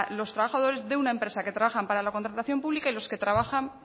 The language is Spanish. los trabajadores de una empresa que trabaja para la contratación pública y que los que trabajan